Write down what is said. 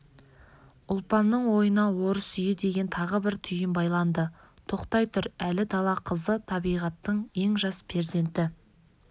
ұлпанның ойына орыс үйі деген тағы бір түйін байланды тоқтай тұр әлі дала қызы табиғаттың ең жас перзенті